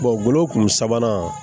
golo kun sabanan